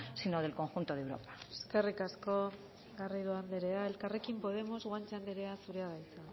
sino del conjunto de europa eskerrik asko garrido anderea elkarrekin podemos guanche anderea zurea da hitza